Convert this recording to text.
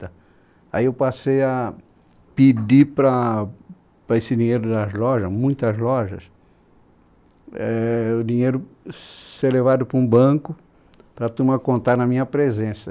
aí eu passei a pedir para, para esse dinheiro das lojas, muitas lojas, éh... o dinheiro ser levado para um banco para a turma contar na minha presença.